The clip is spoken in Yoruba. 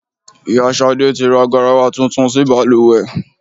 Ìyá Ṣadé tí ra garawa tuntun sí bàlùwẹ̀.